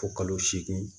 Fo kalo seegin